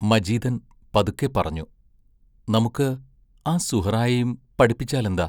മജീദൻ പതുക്കെപ്പറഞ്ഞു: നമുക്ക് ആ സുഹ്റായേയും പഠിപ്പിച്ചാലെന്താ?